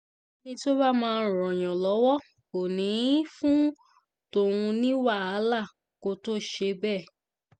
ẹni tó bá máa ràn yàn lọ́wọ́ kò ní í fún tọ̀hún ní wàhálà kó tóó ṣe bẹ́ẹ̀